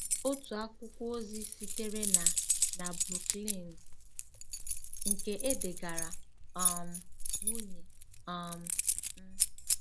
Otu akwụkwọ ozi sitere na na Brooklyn, nke e degaara um nwunye um m.